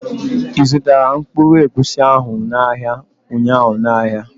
i zụtara mkpụrụ egwusi ahụ n' ahịa ụnyaahụ n' áhiá?